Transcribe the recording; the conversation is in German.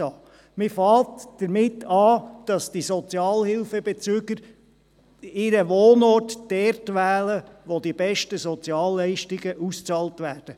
Man beginnt damit, dass die Sozialhilfebezüger ihren Wohnort dort wählen, wo die besten Sozialleistungen ausbezahlt werden.